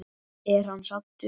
Er hann saddur?